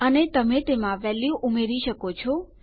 અને તમે તેમાં વેલ્યુ ઉમેરી શકો છો